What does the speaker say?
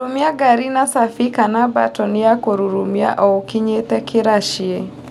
Rurumia ngari na cabi kana mbatoni ya kũrurumia oũkinyĩte kĩraci.